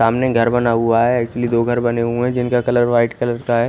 सामने घर बना हुआ है एक्चुअली दो घर बने हुए है जिनका कलर वाईट लगता है।